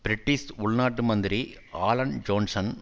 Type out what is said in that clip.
British உள் நாட்டு மந்திரி ஆலன் ஜோன்சன்